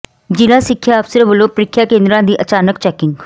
ਜਿਲ੍ਹਾ ਸਿੱਖਿਆ ਅਫਸਰ ਵੱਲੋਂ ਪ੍ਰੀਖਿਆ ਕੇਂਦਰਾਂ ਦੀ ਅਚਾਨਕ ਚੈਕਿੰਗ